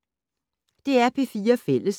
DR P4 Fælles